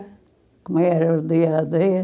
Como era o dia a dia?